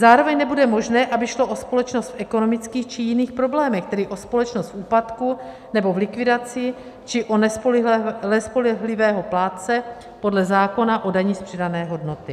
Zároveň nebude možné, aby šlo o společnost v ekonomických či jiných problémech, tedy o společnost v úpadku nebo v likvidaci, či o nespolehlivého plátce podle zákona o dani z přidané hodnoty.